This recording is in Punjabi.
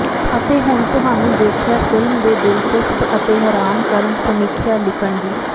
ਅਤੇ ਹੁਣ ਤੁਹਾਨੂੰ ਦੇਖਿਆ ਫਿਲਮ ਦੇ ਦਿਲਚਸਪ ਅਤੇ ਹੈਰਾਨ ਕਰਨ ਸਮੀਖਿਆ ਲਿਖਣ ਦੀ